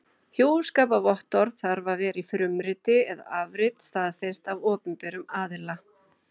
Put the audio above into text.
Hjúskaparvottorðið þarf að vera í frumriti eða afrit staðfest af opinberum aðila.